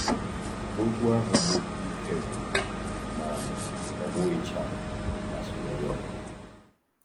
Okwu ahụ bụ “Ike Gwụrụ, Ma Ọ Gwụghịcha” masịrị onye ọ bụla.